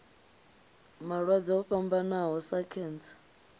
malwadze o fhambanaho sa khentsa